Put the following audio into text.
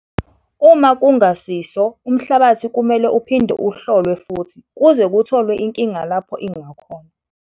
Uma kungasiso, umhlabathi kumele uphinde uhlolwe futhi kuze kutholwe inkinga lapho ingakhona.